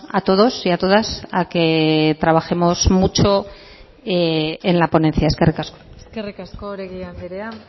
a todos y a todas a que trabajemos mucho en la ponencia eskerrik asko eskerrik asko oregi andrea